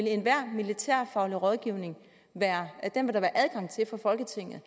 enhver militærfaglig rådgivning for folketinget